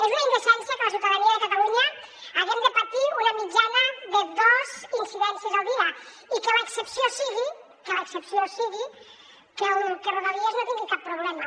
és una indecència que la ciutadania de catalunya haguem de patir una mitjana de dos incidències al dia i que l’excepció sigui que l’excepció sigui que rodalies no tingui cap problema